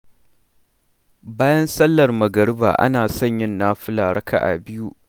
Bayan sallar magariba ana son yin nafila raka'a biyu.